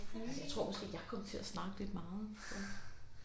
Jeg tror måske jeg kom til at snakke lidt meget